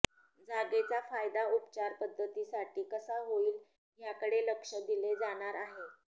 जागेचा फायदा उपचार पध्दतीसाठी कसा होईल याकडेही लक्ष दिले जाणार आहे